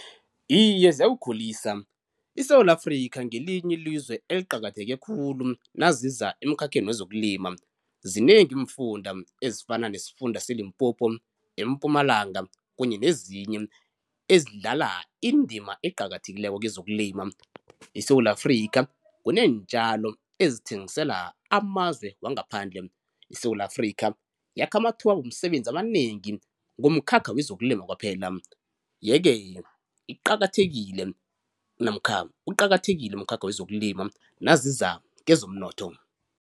Iye ziyawukhulisa, iSewula Afrikha ngelinye ilizwe eliqakatheke khulu naziza emkhakheni wezokulima. Zinengi iimfunda ezifana nesifunda seLimpopo, eMpumalanga kunye nezinye ezidlala indima eqakathekileko kezokulima. ISewula Afrikha kuneentjalo ezithengisela amazwe wangaphandle. ISewula Afrikha yakha amathuba womsebenzi amanengi ngomkhakha wezokulima kwaphela, yeke iqakathekile namkha uqakathekile umkhakha wezokulima naziza kezomnotho.